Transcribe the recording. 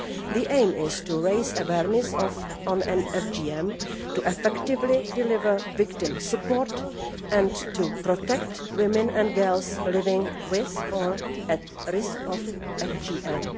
The aim is to raise awareness of FGM, to effectively deliver victim support and to protect women and girls living with, or at risk of, FGM.